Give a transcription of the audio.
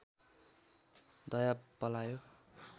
दया पलायो